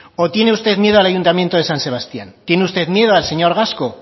o tiene usted miedo al ayuntamiento de san sebastián tiene usted miedo al señor gasco